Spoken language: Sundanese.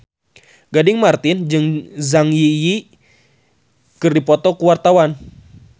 Gading Marten jeung Zang Zi Yi keur dipoto ku wartawan